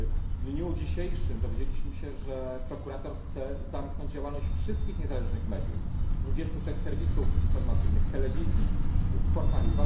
W dniu dzisiejszym dowiedzieliśmy się, że prokurator chce zamknąć działalność wszystkich niezależnych mediów 23 serwisów informacyjnych, telewizji i portali.